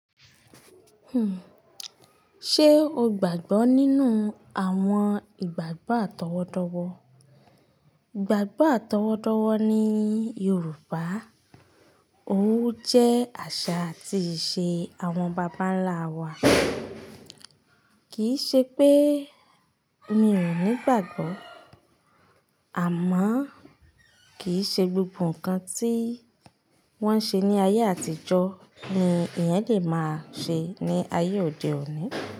Hmm. Ṣe o gbàgbọ́ nínú àwọn ìgbàgbọ́ àtọwọ́dọ́wọ́? Ìgbàgbọ́ àtọwọ́dọ́wọ́ ni Yorùbá, ó jẹ́ àṣà àti ìṣe àwọn bàbá ńlá wa. Kì í ṣe pé mi ò ní ìgbàgbọ́, àmọ́ kì í ṣe gbogbo ǹkan tí wọ́n ń ṣe ní ayé àtijọ́ ni ìyẹn lè máa ṣe ní ayé òde òní.